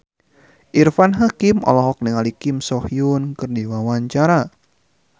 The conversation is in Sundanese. Irfan Hakim olohok ningali Kim So Hyun keur diwawancara